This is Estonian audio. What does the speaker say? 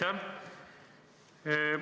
Aitäh!